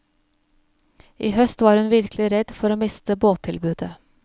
I høst var hun virkelig redd for å miste båttilbudet.